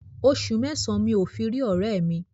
Oṣù mẹ́sàn-án mi ò fi rí ọ̀rẹ́ẹ̀ mi.